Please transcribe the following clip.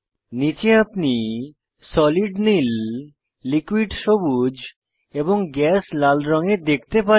নীচে আপনি সলিড নীল লিকুইড সবুজ এবং গ্যাস লাল রঙে দেখতে পারেন